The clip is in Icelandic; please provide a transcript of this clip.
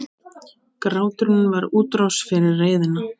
Gráturinn var útrás fyrir reiðina.